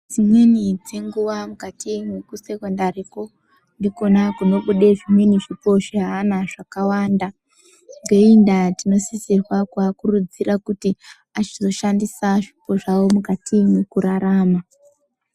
Dzimweni dzenguwa mukati mwekusekondari ko ndikona kunobude zvimweni zvipo zveana zvakawanda. Ngeiyi ndaa tinosisirwa kuakurudzira kuti achizoshandisa zvipo zvawo mukati mwekurarama.